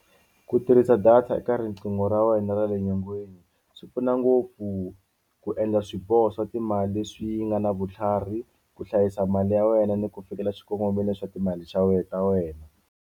Ku tirhisa data eka riqingho ra wena ra le nyongeni swi pfuna ngopfu ku endla swiboho swa timali leswi nga na vutlhari ku hlayisa mali ya wena ni ku fikela xikongomelo swa timali ta wena.